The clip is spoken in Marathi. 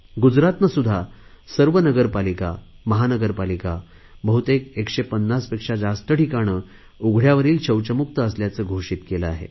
गुजरातने सुध्दा सर्व नगरपालिकामहानगरपालिका बहुतेक 150 पेक्षा जास्त ठिकाणे उघडयावरील शौचमुक्त असल्याचे घोषित केले आहे